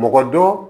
Mɔgɔ dɔ